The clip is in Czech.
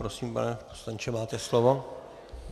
Prosím, pane poslanče, máte slovo.